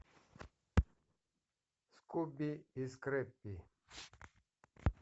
скуби и скрэппи